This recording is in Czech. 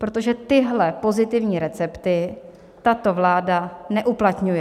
Protože tyhle pozitivní recepty tato vláda neuplatňuje.